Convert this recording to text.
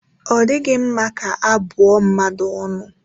Ọ dịghị mma ka abụ ọ mmadụ ọnụ